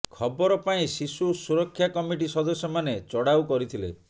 ଖବର ପାଇଁ ଶିଶୁ ସୁରକ୍ଷା କମିଟି ସଦସ୍ୟମାନେ ଚଢାଉ କରିଥିଲେ